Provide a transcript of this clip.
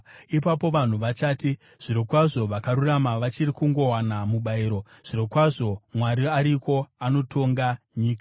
Ipapo vanhu vachati, “Zvirokwazvo vakarurama vachiri kungowana mubayiro; zvirokwazvo Mwari ariko anotonga nyika.”